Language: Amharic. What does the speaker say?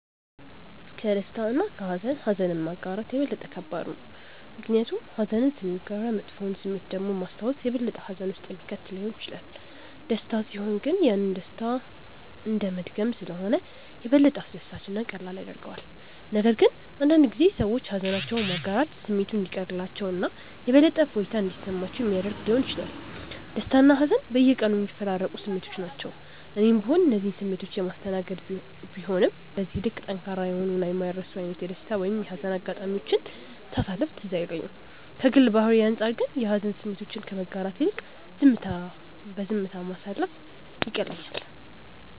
ከደስታ እና ከሃዘን ኀዘንን ማጋራት የበለጠ ከባድ ነው። ምክንያቱም ኀዘንን ስናጋራ መጥፎውን ስሜት ደግሞ ማስታወስ የበለጠ ሀዘን ውስጥ የሚከት ሊሆን ይችላል። ደስታ ሲሆን ግን ያንን ደስታ እንደመድገም ስለሆነ የበለጠ አስደሳች እና ቀላል ያደርገዋል፤ ነገር ግን አንዳንድ ጊዜ ሰዎች ሃዘናቸውን ማጋራት ስሜቱ እንዲቀልላቸው እና የበለጠ እፎይታ እንዲሰማቸው ሚያደረግ ሊሆን ይችላል። ደስታና ሀዘን በየቀኑ የሚፈራረቁ ስሜቶች ናቸው። እኔም ብሆን እነዚህን ስሜቶች የማስተናገድ ቢሆንም በዚህ ልክ ጠንካራ የሆኑ እና የማይረሱ አይነት የደስታ ወይም የሀዘን አጋጣሚዎችን ሳሳለፍ ትዝ አይለኝም። ከግል ባህሪዬ አንጻር ግን የሀዘን ስሜቶችን ከማጋራት ይልቅ ዝምታ ማሳለፍ ይቀለኛል።